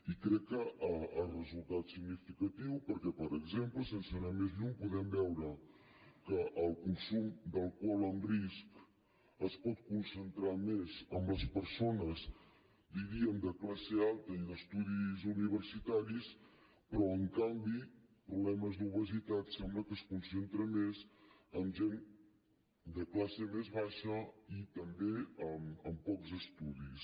i crec que el resultat és significatiu perquè per exemple sense anar més lluny podem veure que el consum d’alcohol amb risc es pot concentrar més en les persones diríem de classe alta i d’estudis universitaris però en canvi els problemes d’obesitat sembla que es concentren més en gent de classe més baixa i també amb pocs estudis